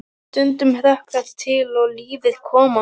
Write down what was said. Stundum hrökk þetta til og lífið kom á ný.